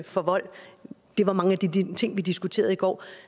for vold det var mange af de ting vi diskuterede i går